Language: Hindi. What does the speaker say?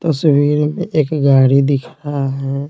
तस्वीर में एक गाड़ी दिख रहा है।